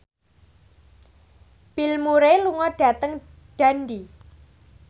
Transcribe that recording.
Bill Murray lunga dhateng Dundee